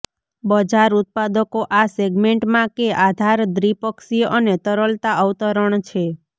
બજાર ઉત્પાદકો આ સેગમેન્ટમાં કે આધાર દ્વિપક્ષીય અને તરલતા અવતરણ છે